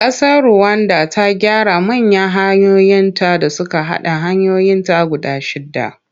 Ƙasar Ruwanda ta gyara manya hanyoyinta da suka haɗa hanyoyinta guda shidda.